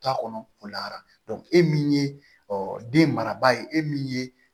Ta kɔnɔ o la e min ye den maraba ye e min ye